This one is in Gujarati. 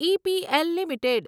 EPL limited